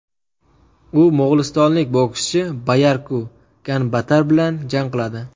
U mo‘g‘ulistonlik bokschi Bayarku Ganbaatar bilan jang qiladi.